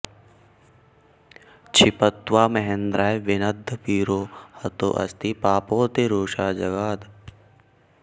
क्षिप्त्वा महेन्द्राय विनद्य वीरो हतोऽसि पापेति रुषा जगाद